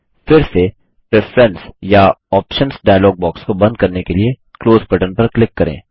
फिर से प्रेफरंस या ऑप्शन्स डायलॉग बॉक्स को बंद करने के लिए क्लोज बटन पर क्लिक करें